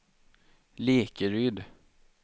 Lekeryd